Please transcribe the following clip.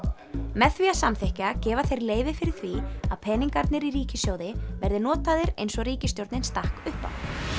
með því að samþykkja gefa þeir leyfi fyrir því að peningarnir í ríkissjóði verði notaðir eins og ríkisstjórnin stakk upp á